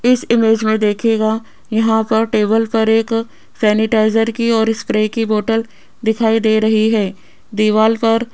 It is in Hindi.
इस इमेज में देखिएगा यहां पर टेबल पर एक सैनिटाइजर की और स्प्रे की बॉटल दिखाई दे रही है दीवाल पर --